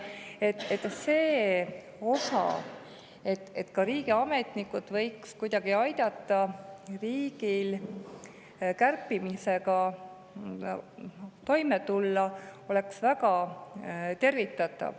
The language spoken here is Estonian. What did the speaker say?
Oleks väga tervitatav, kui ka riigiametnikud aitaks riigil kärpimisega kuidagi toime tulla.